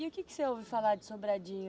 E o que que você ouve falar de Sobradinho?